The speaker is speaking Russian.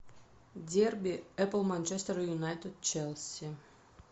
дерби апл манчестер юнайтед челси